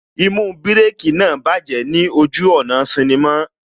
Īmú Bírèkī náà bájẹ̀ ní ojú ọ̀nà sinnimá